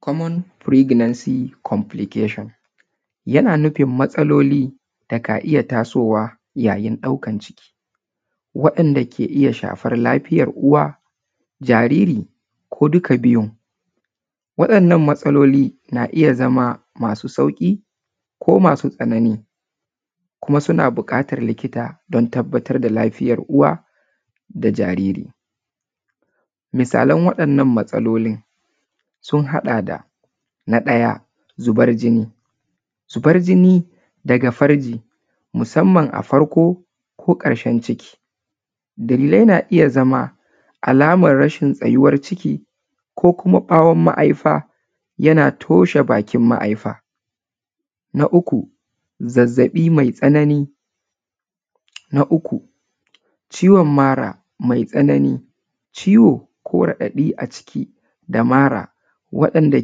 Common pregnancy complication, yana nufin matsaloli da ka iya tasowa yayin ɗaukan ciki, wa’inda ke iya shafar lafiyar uwa, jariri ko duka biyun. Waɗannan matsaloli na iya zama masu sauƙi ko masu tsanani, kuma suna buƙatar likita don tabbatar da lafiyar uwa da jariri. Misalan waɗannan matsalolin sun haɗa da; na ɗaya zubar jini, zubar jini daga farji musamman a farko ko ƙarshen ciki, dalilai na iya zama alamar rashin tsayuwar ciki ko kuma ɓawon ma’aifa yana toshe bakin ma’aifa. Na uku, zazzaɓi mai tsanani, na uku ciwon mara mai tsanani, ciwo ko raɗaɗi a ciki da mara waɗanda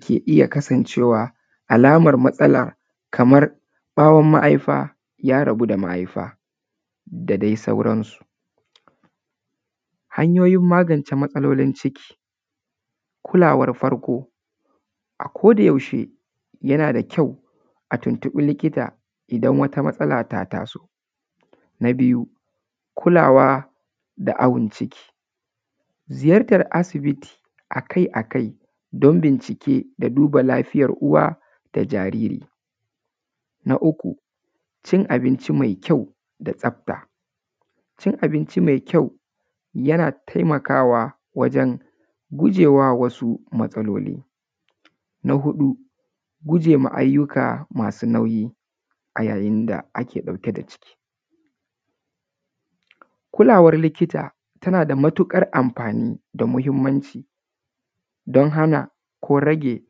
ke iya kasancewa alamar matsala kamar ɓawon ma’aifa ya rabu da ma’aifa da dai sauransu. Hanyoyin magance matsalolin ciki: Kulawar farko; A ko da yaushe yana da kyau a tuntuɓa likita idan wata matsala ta taso. Na biyu, kulawa da awon ciki: Ziyartar asibiti akai-akai don bincike da duba lafiyar uwa da jariri. Na uku, cin abinci mai kyau da tsafta: Cin abinci mai kyau yana taimakawa wajen gujewa wasu matsaloli. Na huɗu, gujema ayyuka masu nauyi a yayin da ake ɗauke da ciki: Kulawar likita tana da matuƙar amfani da mahimmanci, don hana ko rage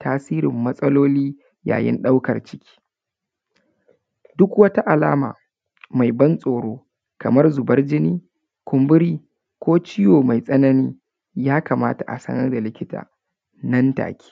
tasirin matsaloli yayin ɗaukar ciki, duk wata alama mai ban tsoro kamar zubar jini, kumburi ko ciwo mai tsanani, ya kamata a sanar da likita nan take.